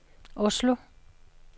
Oslo